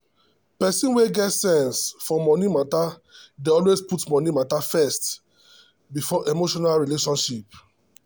person wey get sense for money matter dey always put money matter first before emotional relationship.